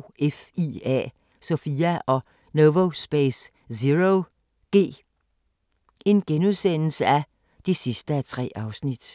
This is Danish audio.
– SOFIA og Novospace ZeroG (3:3)*